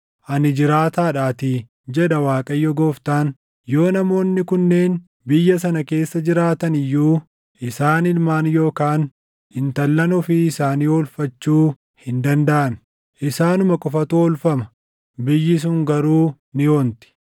ani jiraataadhaatii, jedha Waaqayyo Gooftaan; yoo namoonni kunneen biyya sana keessa jiraatani iyyuu isaan ilmaan yookaan intallan ofii isaanii oolfachuu hin dandaʼan. Isaanuma qofatu oolfama; biyyi sun garuu ni onti.